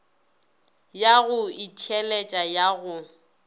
ya go itheeletša ya go